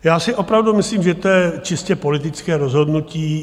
Já si opravdu myslím, že to je čistě politické rozhodnutí.